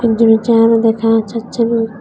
একজনের চেহারা দেখা যাচ্ছে না।